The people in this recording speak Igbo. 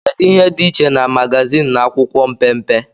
kedu ihe dị iche na magazin na akwụkwọ mpempe